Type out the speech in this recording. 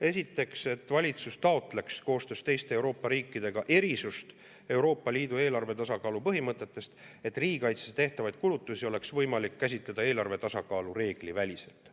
Esiteks, et valitsus taotleks koostöös teiste Euroopa riikidega erisust Euroopa Liidu eelarve tasakaalu põhimõtetest, et riigikaitseks tehtavaid kulutusi oleks võimalik käsitleda eelarve tasakaalu reegli väliselt.